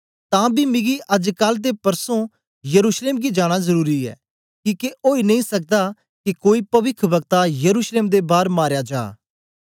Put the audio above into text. तां बी मिगी अजकल ते परसों यरूशलेम गी जाना जरुरी ऐ किके ओई नेई सकदा के कोई पविखवक्ता यरूशलेम दे बार मारया जा